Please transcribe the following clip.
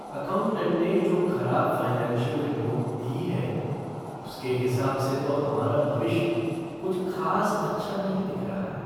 Accountant ने जो खराब फ़ाइनेंशियल रिपोर्ट दी है, उसके हिसाब से तो हमारा भविष्य कुछ खास अच्छा नहीं दिख रहा है।